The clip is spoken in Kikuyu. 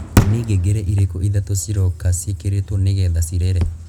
ni ngengere irīkū ithatū ciroka ciīkīrītwo nīgetha cirīre